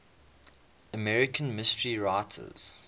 american mystery writers